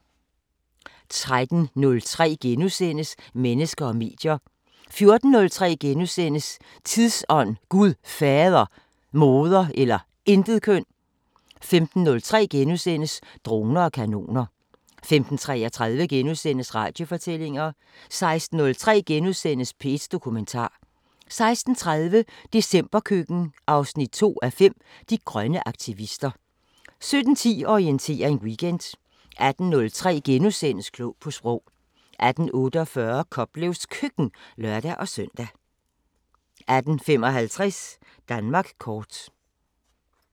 13:03: Mennesker og medier * 14:03: Tidsånd: Gud Fader, Moder eller Intetkøn * 15:03: Droner og kanoner * 15:33: Radiofortællinger * 16:03: P1 Dokumentar * 16:30: Decemberkøkken 2:5 – De grønne aktivister 17:10: Orientering Weekend 18:03: Klog på Sprog * 18:48: Koplevs Køkken (lør-søn) 18:55: Danmark kort